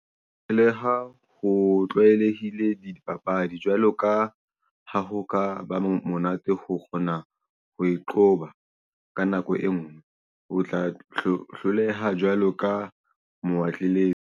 Le ha ho tlwaelehile dipapadi jwalo ka ha ho ka ba monate ho kgona ho e qoba ka nako e nngwe o tla hloleha jwalo ka moatlelete.